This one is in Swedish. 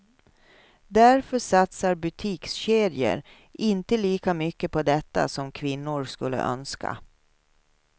Därför satsar butikskedjor inte lika mycket på detta som kvinnor skulle önska.